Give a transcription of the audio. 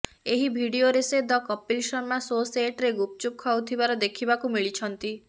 ଏହି ଭିଡିଓରେ ସେ ଦ କପିଲ୍ ଶର୍ମା ସୋ ସେଟରେ ଗୁପଚୁପ୍ ଖାଉଥିବାର ଦେଖିବାକୁ ମିଳିଛନ୍ତି